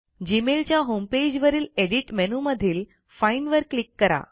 gmailच्या homepage वरील edit मेनूमधील find वर क्लिक करा